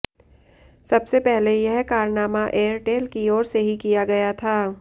सबसे पहले यह कारनामा एयरटेल की ओर से ही किया गया था